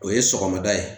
O ye sɔgɔmada ye